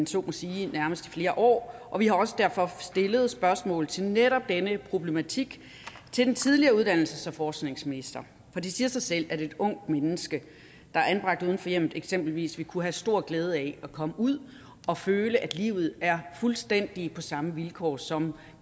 så må sige i nærmest flere år og vi har også derfor stillet spørgsmål til netop denne problematik til den tidligere uddannelses og forskningsminister for det siger sig selv at et ungt menneske der er anbragt uden for hjemmet eksempelvis vil kunne have stor glæde af at komme ud og føle at livet er fuldstændig på samme vilkår som